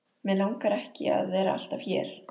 Mig langar ekki að vera alltaf hér.